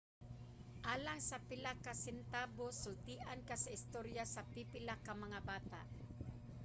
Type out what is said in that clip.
alang sa pila ka sentabos sultian ka sa istorya sa pipila ka mga bata